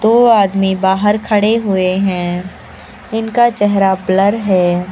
दो आदमी बाहर खड़े हुए हैं इनका चेहरा ब्लर है।